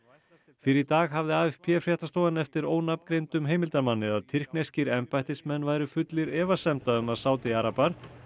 fyrr í dag hafði fréttastofan eftir ónafngreindum heimildarmanni að tyrkneskir embættismenn væru fullir efasemda um að Sádi arabar